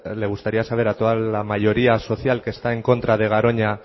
le gustaría saber a toda la mayoría social que está en contra de garoña